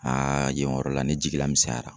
yen yɔrɔ la ne jigila misɛnyara.